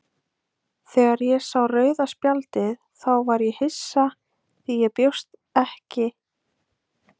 Þegar ég sá rauða spjaldið þá var ég hissa því ég bjóst við gulu spjaldi,